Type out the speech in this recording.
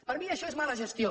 per mi això és mala gestió